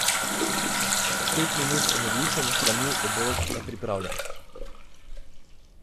Pet minut in odličen hranljiv obrok je pripravljen.